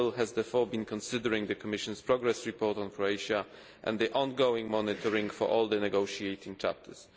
Council has therefore been considering the Commission's progress report on Croatia and the ongoing monitoring for all the negotiating chapters.